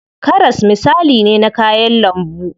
Karas misali ne na kayan lambu.